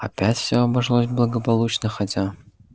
опять все обошлось благополучно хотя